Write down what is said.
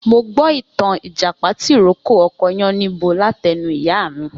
Mo gbó ìtàn Ìjàpá tì rókò ọkọ Yáníbo látẹnu ìyá mí.